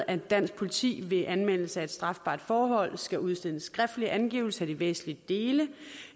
at dansk politi ved anmeldelse af et strafbart forhold skal udstede en skriftlig angivelse af de væsentlige dele